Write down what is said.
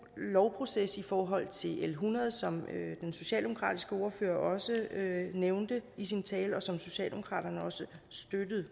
lovproces i forhold til l hundrede som den socialdemokratiske ordfører også nævnte i sin tale et lovforslag som socialdemokraterne også støttede